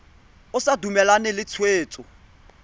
o sa dumalane le tshwetso